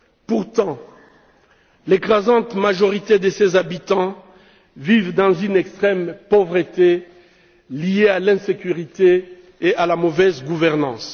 pourtant, l'écrasante majorité de ses habitants vit dans une extrême pauvreté liée à l'insécurité et à la mauvaise gouvernance.